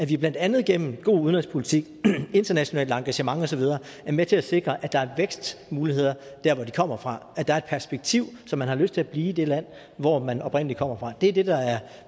vi blandt andet gennem en god udenrigspolitik internationalt engagement og så videre er med til at sikre at der er vækstmuligheder der hvor de kommer fra at der er et perspektiv så man har lyst til at blive i det land hvor man oprindelig kommer fra det er det der er